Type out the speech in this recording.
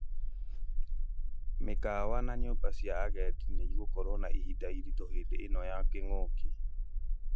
Mĩkawa na nyũmba cia agendi nĩ igũkorwo na ihinda iritũ hĩndĩ ĩno ya kĩngũki